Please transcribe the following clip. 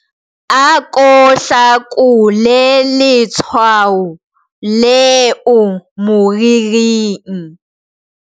Ako hlakole letshwao leo moriring.